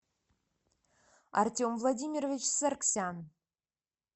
артем владимирович саргсян